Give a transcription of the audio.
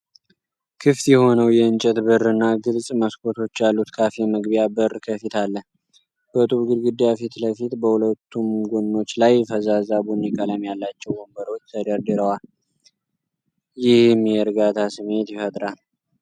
ክፍት የሆነው የእንጨት በርና ግልጽ መስኮቶች ያሉት ካፌ መግቢያ በር ከፊት አለ። በጡብ ግድግዳ ፊት ለፊት በሁለቱም ጎኖች ላይ ፈዛዛ ቡኒ ቀለም ያላቸው ወንበሮች ተደርድረዋል፤ ይህም የእርጋታ ስሜት ይፈጥራል።